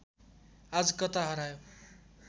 आज कता हरायो